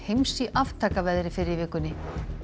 heims í aftakaveðri fyrr í vikunni